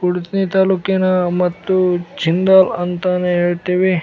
ಹುಡಿಸೆ ತಾಲೂಕಿನ ಮತ್ತು ಜಿಂದಾಲ್‌ ಅಂತಾನೆ ಹೇಳ್ತಿವಿ .